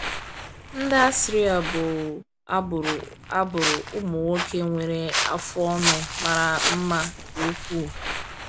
Ndị Assyria bụ agbụrụ agbụrụ ụmụ nwoke nwere afụ ọnụ mara mma nke ukwuu.